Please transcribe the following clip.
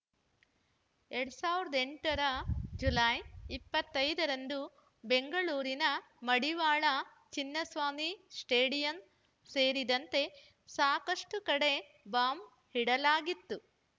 ಎರಡ್ ಸಾವಿರದ ಎಂಟ ರ ಜುಲೈ ಇಪ್ಪತೈದ ರಂದು ಬೆಂಗಳೂರಿನ ಮಡಿವಾಳ ಚಿನ್ನಸ್ವಾಮಿ ಸ್ಟೇಡಿಯಂ ಸೇರಿದಂತೆ ಸಾಕಷ್ಟುಕಡೆ ಬಾಂಬ್‌ ಇಡಲಾಗಿತ್ತು